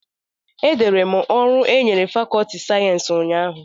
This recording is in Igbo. Edere m ọrụ e nyere fàkọọtị sayensị ụnyahụ